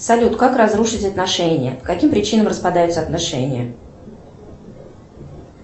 салют как разрушить отношения по каким причинам распадаются отношения